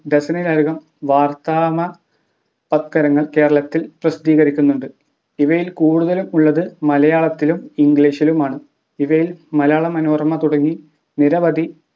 വർത്തമാനപത്രങ്ങൾ കേരളത്തിൽ പ്രസിദ്ധീകരിക്കുന്നുണ്ട് ഇവയിൽ കൂടുതലും ഉള്ളത് മലയാളത്തിലും English ലുമാണ് ഇവയിൽ മലയാള മനോരമ തുടങ്ങി നിരവധി